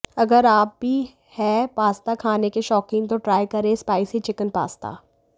अगर आप भी हैं पास्ता खाने के शौकीन तो ट्राई करें यह स्पाइसी चिकन पास्ता